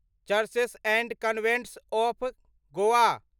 churches and convents of Goa